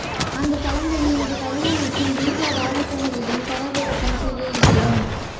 அந்தத் தளங்களில் இது பழைய மற்றும் பீட்டா பதிப்புகளையும் தரவிறக்கம் செய்ய இயலும்